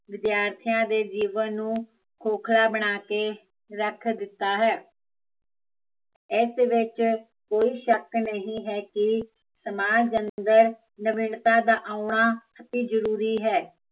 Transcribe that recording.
ਵਿਦਿਆਰਥੀਆ ਦੇ ਜੀਵਨ ਨੂੰ, ਖੋਕਲਾ ਬਣਾ ਕੇ ਰੱਖ ਦਿੱਤਾ ਹੈ ਏਸ ਵਿੱਚ ਕੋਈ ਸ਼ੱਕ ਨਹੀਂ ਹੈ ਕੀ, ਸਮਾਜ ਅੰਦਰ ਨਵੀਨਤਾ ਦਾ ਆਉਣਾ ਵੀ ਜ਼ਰੂਰੀ ਹੈ